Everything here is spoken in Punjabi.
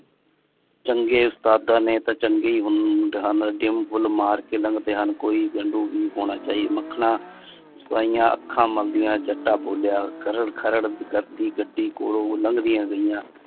ਚੰਗੇ ਉਸਤਾਦਾ ਨੇ ਤਾਂ ਚੰਗੇ ਹੀ ਹੁੰਦੇ ਹਨ ਕੋਈ ਲੰਡੂ ਨਹੀਂ ਹੋਣਾ ਚਾਹੀਦਾ ਮੱਖਨਾ ਅੱਖਾਂ ਮਲਦੀਆਂ ਜੱਟਾ ਬੋਲਿਆ ਕਰ ਖਰੜ ਕਰਦੀ ਗੱਡੀ ਕੋਲੋਂ ਉਹ ਲੱਗਦੀਆਂ ਗਈ ਆ।